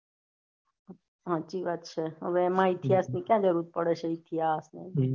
હાચી વાત છે હવે એમાં ઈતિહાસ ની ક્યાં જરૂર પડે છે ઈતિહાસ ની